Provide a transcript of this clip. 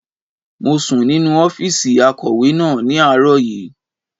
Mo sùn nínu ọ́fìsì akọ̀wé náà ní àárọ̀ yìí